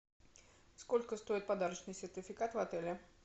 сколько стоит подарочный сертификат в отеле